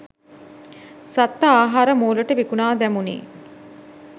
සත්ව ආහාර මෝලට විකුණා දැමුනි.